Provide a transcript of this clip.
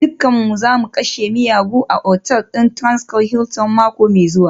Dukanmu za mu kashe miyagu a otal ɗin Transcorp Hilton mako mai zuwa